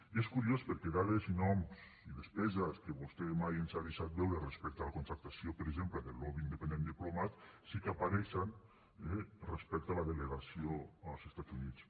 i és curiós perquè dades i noms i despeses que vostè mai ens ha deixat veure respecte a la contractació per exemple del lobby independent diplomat sí que apareixen respecte a la delegació als estats units